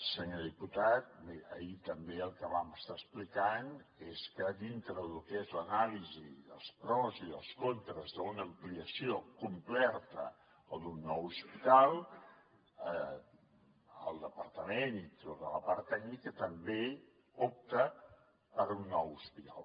senyor diputat miri ahir també el que vam estar explicant és que dintre de lo que és l’anàlisi dels pros i dels contres d’una ampliació completa o d’un nou hospital el departament i tota la part tècnica també opta per un nou hospital